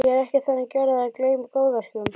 Ég er ekki þannig gerður að ég gleymi góðverkum.